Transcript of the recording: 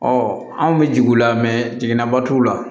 anw bɛ jigi u la jiginɛba t'u la